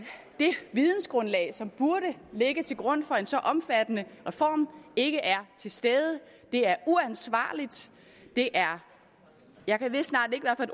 det vidensgrundlag som burde ligge til grund for en så omfattende reform ikke er til stede det er uansvarligt det er jeg ved snart ikke hvad